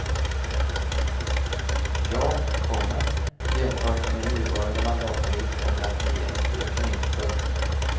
Ja, komma jämfört med nuvarande mandatperiod kommer det att bli en ökning. punkt